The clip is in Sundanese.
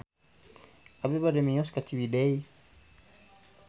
Abi bade mios ka Ciwidey